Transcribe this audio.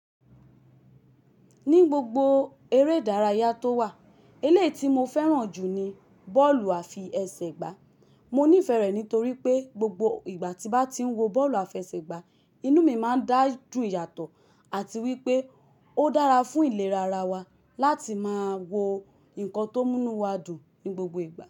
Ní gbogbo eré ìdárayá tó wà, elé ti mo fẹ́ràn jù ni bọ́ọ̀lù àfi ẹsẹ̀ gbá. Mo nífẹ̀ẹ́ rẹ̀ nítorí pé gbogbo ìgbà tí bá ti ń wo bọ́ọ̀lù àfi ẹsẹ̀ gbá, inú mi máa ń dá jú yàtọ̀ àti wípé ó dára fún ìlera ara wa láti máa wo nǹkan tó mú inú wa dùn ní gbogbo ìgbà.